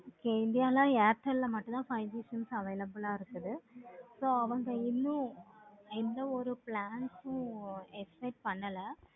okay india ல airtel ல மாட்டுன five G லாம் available ஆஹ் இருக்குது. இன்னு இன்னு ஒரு plan உம் expect பண்ணல.